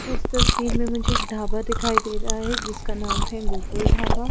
इस तस्वीर में मुझे एक ढाबा दिखाई दे रहा है जिसका नाम है गोकुल ढाबा।